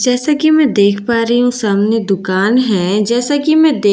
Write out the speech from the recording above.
जैसा की मैं देख पा रही हूँ सामने दुकान हैं जैसा की मैं देख --